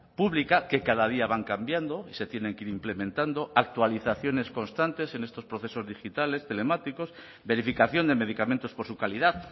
pública que cada día van cambiando y se tienen que ir implementando actualizaciones constantes en estos procesos digitales telemáticos verificación de medicamentos por su calidad